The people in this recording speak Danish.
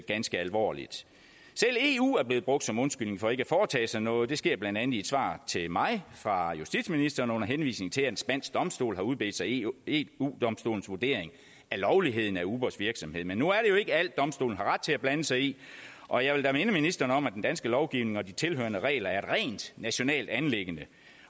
ganske alvorligt selv eu er blevet brugt som undskyldning for ikke at foretage sig noget det sker blandt andet i et svar til mig fra justitsministeren under henvisning til at en spansk domstol har udbedt sig eu eu domstolens vurdering af lovligheden af ubers virksomhed men nu er det jo ikke alt domstolen har ret til at blande sig i og jeg vil da minde ministeren om at den danske lovgivning og de tilhørende regler er et rent nationalt anliggende